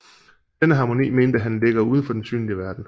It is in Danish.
Denne harmoni mente han ligger uden for den synlige verden